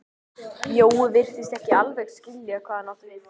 Jói virtist ekki alveg skilja hvað hann átti við.